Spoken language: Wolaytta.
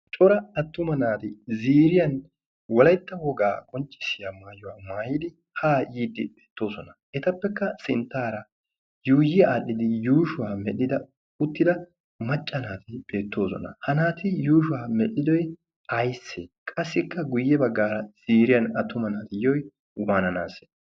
Cora attuma naati ziiriyan wolaitta wogaa qonccissiya maayuwaa maayidi haa yiiddi beettoosona. Etappekka sinttaara yuuyi aadhdhidi yuushuwaa medhdhida uttida macca naati beettoosona. Ha naati yuushuwaa medhdhidoy aybise? Qassikka guyye baggaara ziriyan attuma naati yiyoy waananaase?